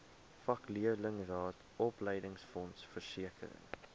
vakleerlingraad opleidingsfonds versekering